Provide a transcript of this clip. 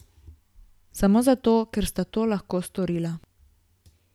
Samo zato, ker sta to lahko storila.